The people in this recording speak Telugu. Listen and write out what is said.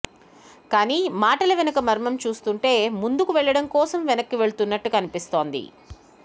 కానీ మాటల వెనుక మర్మం చూస్తుంటే ముందుకు వెళ్లడం కోసం వెనక్కు వెళ్తున్నట్లు కనిపిస్తోంది